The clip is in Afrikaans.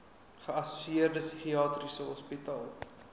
geassosieerde psigiatriese hospitale